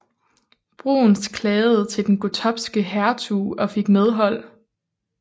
Bruhns klagede til den gottopske hertug og fik medhold